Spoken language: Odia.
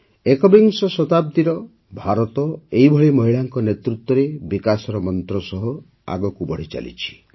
ଏକବିଂଶ ଶତାବ୍ଦୀର ଭାରତ ଏହିଭଳି ମହିଳାଙ୍କ ନେତୃତ୍ୱରେ ବିକାଶର ମନ୍ତ୍ର ସହ ଆଗକୁ ବଢ଼ିଚାଲିଛି